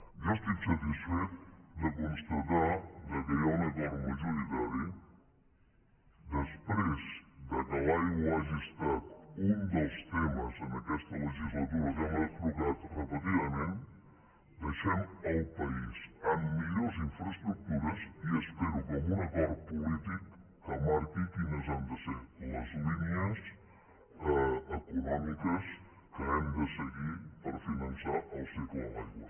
jo estic satisfet de constatar que hi ha un acord majoritari després que l’aigua hagi estat un dels temes en aquesta legislatura que hem abordat repetidament deixem el país amb millors infraestructures i espero que amb un acord polític que marqui quines han de ser les línies econòmiques que hem de seguir per finançar el cicle de l’aigua